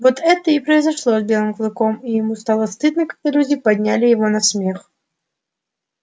вот это и произошло с белым клыком и ему стало стыдно когда люди подняли его на смех